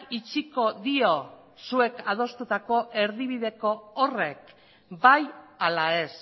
itxiko dio zuek adostutako erdibideko horrek bai ala ez